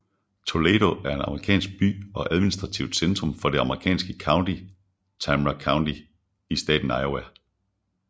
Toledo er en amerikansk by og administrativt centrum for det amerikanske county Tama County i staten Iowa